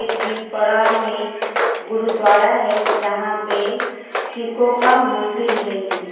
बीच पड़ाव में गुरुद्वारा है जहां पे सिखों का मंदिल है ये।